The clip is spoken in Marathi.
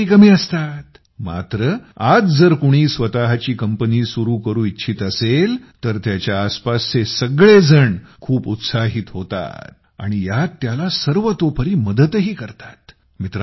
कटकटी कमी असतात मात्र आज जर कुणी स्वतःची कंपनी सुरु करू इच्छित असेल तर त्याच्या आसपासचे सगळेजण खूप उत्साहित होतात आणि यात त्याला सर्वतोपरी मदतही करतात